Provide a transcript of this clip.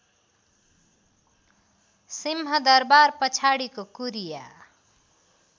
सिंहदरवार पछाडिको कुरिया